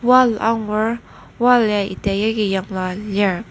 Wall angur wall ya ita yagi yanglua lir.